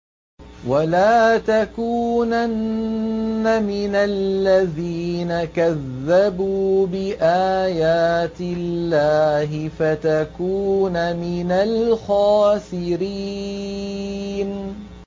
وَلَا تَكُونَنَّ مِنَ الَّذِينَ كَذَّبُوا بِآيَاتِ اللَّهِ فَتَكُونَ مِنَ الْخَاسِرِينَ